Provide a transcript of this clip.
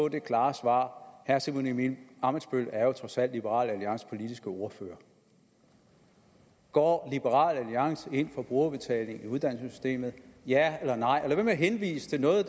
et klart svar herre simon emil ammitzbøll er jo trods alt liberal alliances politiske ordfører går liberal alliance ind for brugerbetaling i uddannelsessystemet ja eller nej og man med at henvise til noget